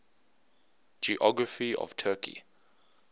geography of turkey